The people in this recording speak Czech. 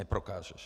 Neprokážeš.